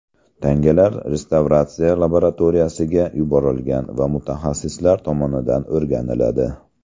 Tangalar restavratsiya laboratoriyasiga yuborilgan va mutaxassislar tomonidan o‘rganiladi.